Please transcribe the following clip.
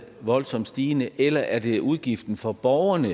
voldsomt stigende eller er det udgiften for borgerne